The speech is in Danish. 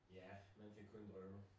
Ja, man kan kun drømme